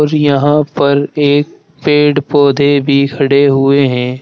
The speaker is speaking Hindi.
और यहां पर एक पेड़ पौधे भी खड़े हुए हैं।